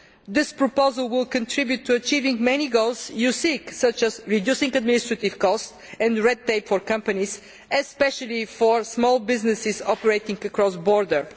This proposal will contribute to achieving many goals you seek, such as reducing administrative costs and red tape for companies, especially for small businesses operating across borders.